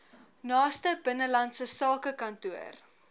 naaste binnelandse sakekantoor